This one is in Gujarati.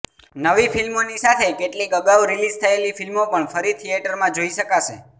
નવી ફિલ્મોની સાથે કેટલીક અગાઉ રિલીઝ થયેલી ફિલ્મો પણ ફરી થિયેટરમાં જોઈ શકાશે